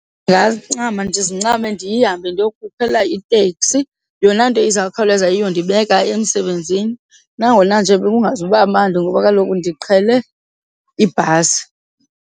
Ndingancama ndizincame ndihambe ndiyokukhangela itekisi yona nto izawukhawuleza iyondibeka emsebenzini nangona nje kungazuba mandi ngoba kaloku ndiqhele ibhasi.